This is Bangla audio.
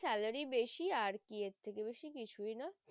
salary বেশি আর কি এর থেকে বেশি কিছুই না।